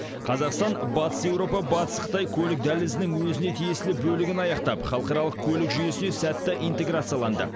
қазақстан батыс еуропа батыс қытай көлік дәлізінің өзіне тиесілі бөлігін аяқтап халықаралық көлік жүйесіне сәтті интеграцияланды